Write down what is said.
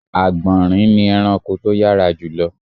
Àgbọ̀nrín ni ẹranko tó yárā jùlọ